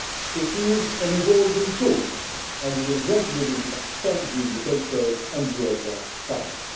it name and praise'. It is an evolving tool and will gradually expand the indicators